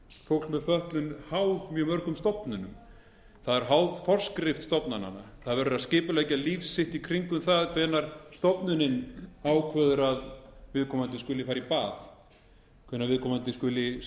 á íslandi háð mjög mörgum stofnunum það er háð forskrift stofnananna það verður að skipuleggja líf sitt í kringum það hvenær stofnunin ákveður að viðkomandi skuli fara í bað hvenær viðkomandi skuli skipta um